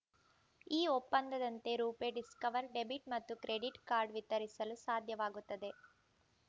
ಈ ಒಪ್ಪಂದದಂತೆ RuPay Discover debit ಮತ್ತು ಕ್ರೆಡಿಟ್ ಕಾರ್ಡ್ ವಿತರಿಸಲು ಸಾಧ್ಯವಾಗುತ್ತದೆ